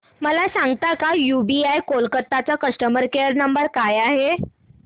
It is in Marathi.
मला सांगता का यूबीआय कोलकता चा कस्टमर केयर नंबर काय आहे